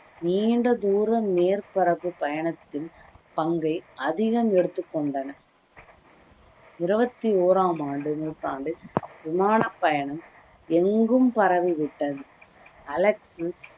நீண்ட தூரம் மேற்பரப்பு பயணத்தின் பங்கை அதிகம் எடுத்து கொண்டன இருவத்தி ஓராம் ஆண்டு நூற்றாண்டு விமான பயணம் எங்கும் பரவி விட்டது அலெக்சிஸ்